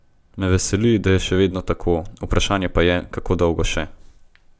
Me veseli, da je še vedno tako, vprašanje pa je, kako dolgo še.